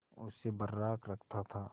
उसे बर्राक रखता था